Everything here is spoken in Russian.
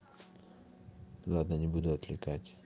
ладно не буду отвлекать